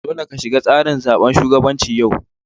Dolle ka shiga tsarin zaben shugabancin yau!